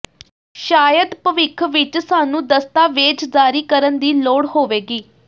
ਸ਼ਾਇਦ ਭਵਿੱਖ ਵਿਚ ਸਾਨੂੰ ਦਸਤਾਵੇਜ਼ ਜਾਰੀ ਕਰਨ ਦੀ ਲੋੜ ਹੋਵੇਗੀ